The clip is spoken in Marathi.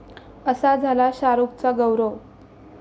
असा झाला शाहरुखचा 'गौरव'!